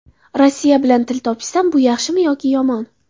Rossiya bilan til topishsam, bu yaxshimi yoki yomon?